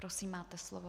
Prosím, máte slovo.